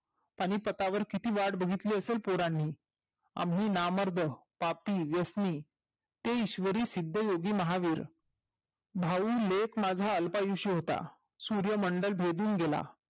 आणि पटावर किती वाट बहीतली असेल पोरांनी आम्ही नामर्द पापी व्यसनी ते ईशवरी सिध्द योगी महावीर भाऊ लेक माझा अल्पायुष्य होता सूर्य मंडळ भेदोन गेला